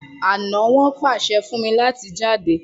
ana won pase fún mí láti jáde.